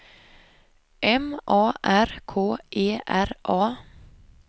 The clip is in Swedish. M A R K E R A